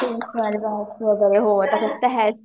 हो सगळ्या गोष्टी आता काय